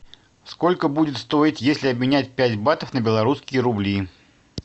сколько будет стоить если обменять пять батов на белорусские рубли